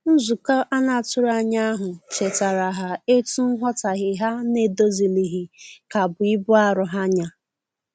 Nzukọ anatughi anya ahu chetara ha etu nwotaghe ha n'edozilighi ka bụ ibụ arọ ha nya